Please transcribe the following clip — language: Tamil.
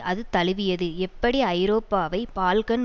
அது தழுவியது எப்படி ஐரோப்பாவை பால்கன்